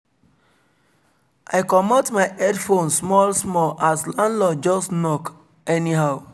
i komot my headphones small small as landlord just knock anyhow